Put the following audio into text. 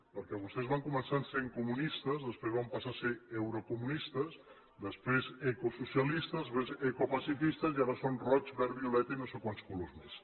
perquè vostès van començar sent comunistes després van passar a ser eurocomunistes després ecosocialistes després ecopacifistes i ara són roig verd violeta i no sé quants colors més